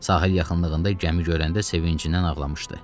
Sahil yaxınlığında gəmini görəndə sevincindən ağlamışdı.